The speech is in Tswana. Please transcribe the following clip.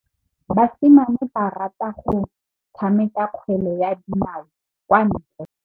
Basimane ba rata go tshameka kgwele ya dinaô kwa ntle.